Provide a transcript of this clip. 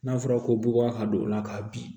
N'a fɔra ko bubaga ka don o la ka bin